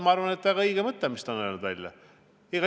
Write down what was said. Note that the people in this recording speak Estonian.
Ma arvan, et see on väga õige mõte, mis ta on välja öelnud.